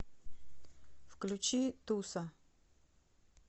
включи туса